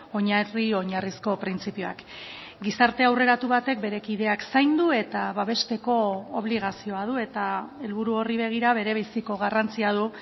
oinarri oinarrizko printzipioak gizarte aurreratu batek bere kideak zaindu eta babesteko obligazioa du eta helburu horri begira berebiziko garrantzia du